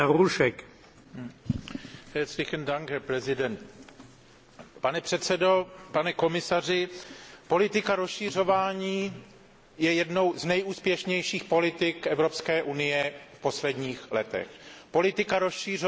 Pane předsedající, politika rozšiřování je jednou z nejúspěšnějších politik Evropské unie v posledních letech. Politika rozšiřování zajistila mír, stabilitu, spolupráci